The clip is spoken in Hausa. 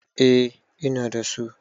eh Ina da su